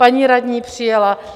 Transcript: Paní radní přijela.